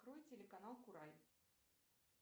открой телеканал курай